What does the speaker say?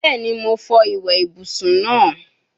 Bẹẹni, Mo fọ iwe ibusun naa